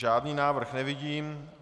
Žádný návrh nevidím.